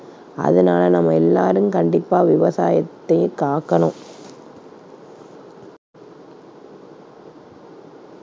அதனால நம்ம எல்லாரும் கண்டிப்பா விவசாயத்தை காக்கணும்.